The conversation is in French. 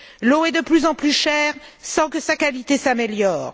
L'eau est de plus en plus chère sans que sa qualité s'améliore.